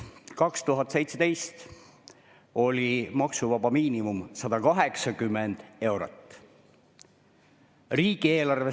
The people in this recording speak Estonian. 2017 oli maksuvaba miinimum 180 eurot.